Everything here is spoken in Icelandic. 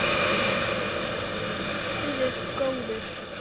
Er stuðningur við liðið góður?